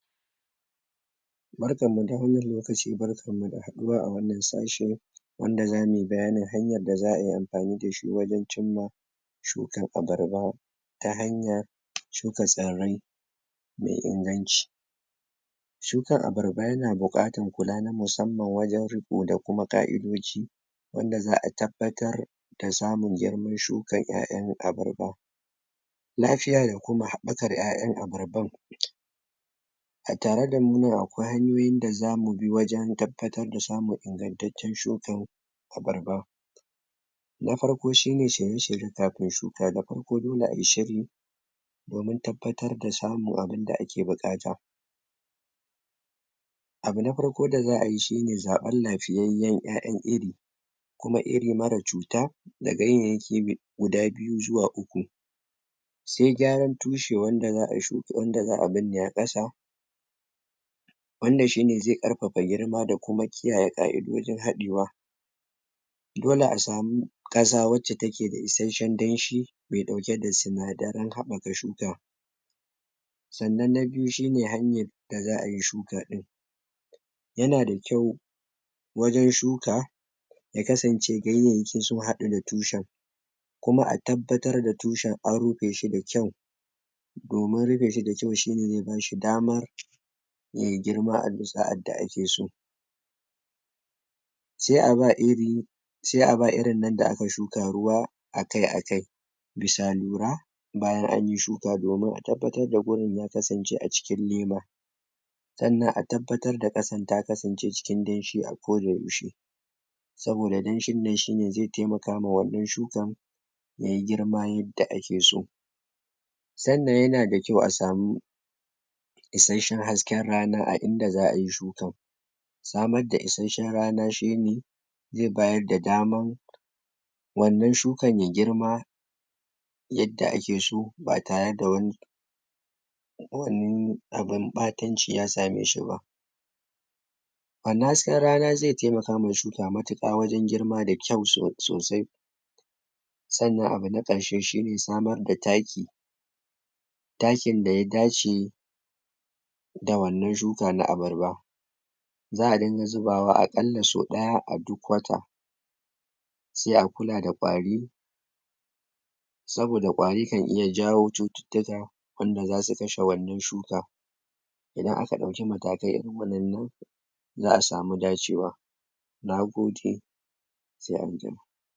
Barkan mu da wannan lokaci barkan mu da haɗuwa a wannan sashe wanda za muyi bayanin hanyar da za ai amfani da shi wajen cimma shukan abarba ta hanyar shuka tsirrai mai inganci shukan abarba yana buƙatar kula na musamman wajen riƙo da kuma ƙa'idoji wanda za a tabbatar da samun girman shukan 'ya'yan abarba lafiya da kuma haɓakar 'ya'yan abarban a tare da mu nan hanyoyin da zamu bi wajen? tabbatar da samun ingantaccen shukan abarba na farko shine shirye shirye kafin shuka, da farko dole a yi shiri domin tabbatar da samun abunda a ke buƙata abu na farko da za ai shine zaɓen lafiyayyen "ya'yan iri kuma iri mara cuta da ganyayyaki guda biyu zuwa uku sai gyaran tushe wanda za a binne a ƙasa wanda shine zai ƙarfafa girma da kuma kiyaye ƙa'idojin haɗewa dole a samu ƙasa wacca take da isasshen danshi mai ɗauke da sinadaran haɓaka shuka sannan na biyu shine hanyar da za ayi shuka ɗin yana da kyau wajen shuka ya kasance ganyayyakin sun haɗu da tushen kuma a tabbatar da tushen an rufe shi da kyau domin rufeshi da kyau shine zai bashi damar ya yi girma a bisa yadda a ke so sai a ba iri sai a ba irin nan da aka shuka ruwa a kai a kai bisa lura bisa lura bisa lura bayan anyi shuka domin a tabbatar da wurin ya kasance a cikin lema sannan a tabbatar da ƙasan ta kasance cikin danshi a ko da yaushe saboda danshin nan shine zai taimakawa wannan shukan yayi girma yadda ake so sannan yana da kyau a samu isasshen hasken rana a inda za ai shukan samar da isasshen rana shine zai bayar da daman wannan shukan ya girma yadda ake so ba tare da kowanne abun ɓatanci ya same shi ba wannan hasken rana zai taimaka ma shuka matuƙa wajen girma da kyau sosai sannan abu na ƙarshe shine samar da taki takin da ya dace da wannan shuka na abarba za a din ga zubawa aƙalla sau ɗaya a wata sai a kula da ƙwari saboda ƙwari kan iya janyo cututtuka wanda za su kashe wannan shuka idan aka ɗauki matakai irin waɗannan za a samu dacewa Nagode sai anjima